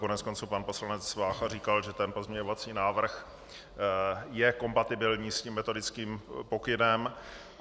Koneckonců pan poslanec Vácha říkal, že ten pozměňovací návrh je kompatibilní s tím metodickým pokynem.